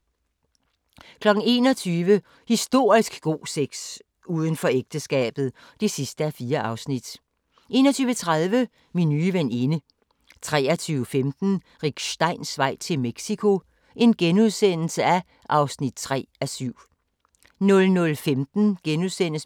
21:00: Historisk god sex – Udenfor ægteskabet (4:4) 21:30: Min nye veninde 23:15: Rick Steins vej til Mexico (3:7)* 00:15: